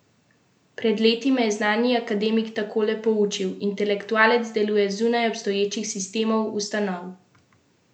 Pred leti me je znani akademik takole poučil: 'Intelektualec deluje zunaj obstoječih sistemov, ustanov, razrednih in drugih interesov.